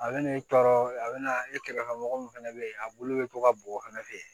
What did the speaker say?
A bɛ n'i tɔɔrɔ a bɛna e kɛrɛfɛ mɔgɔ min fana bɛ yen a bulu bɛ to ka bɔgɔ fɛnɛ fɛ yen